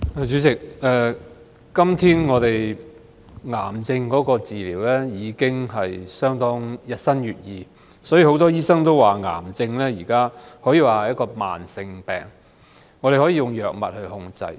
主席，癌症治療日新月異，所以很多醫生都說，癌症可說是一種慢性疾病，可以用藥物來控制。